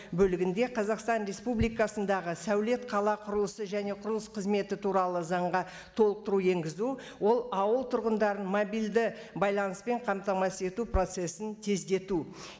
бөлігінде қазақстан республикасындағы сәулет қала құрылысы және құрылыс қызметі туралы заңға толықтыру енгізу ол ауыл тұрғындарын мобильді байланыспен қамтамасыз ету процессін тездету